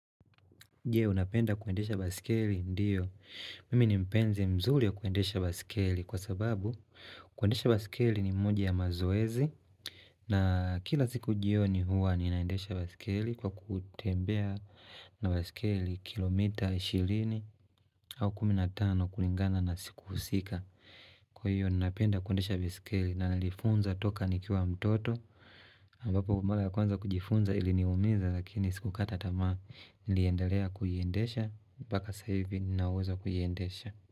Jee unapenda kuendesha baiskeli? Ndiyo. Mimi ni mpenzi mzuri ya kuendesha baiskeli kwa sababu kuendesha baiskeli ni moja ya mazoezi. Na kila siku jioni huwa ninaendesha baiskeli kwa kutembea na baiskeli kilomita ishirini au kumi na tano kulingana na siku husika. Kwa hiyo ninapenda kuendesha baiskeli na nilijifunza toka nikiwa mtoto. Ambapo mara ya kwanza kujifunza ili ni umiza lakini sikukata tamaa niliendelea kuiendesha mpaka sasahivi ninauwezo wa kuiendesha.